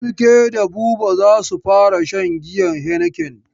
Falke da Buba za su fara shan giyan heineken.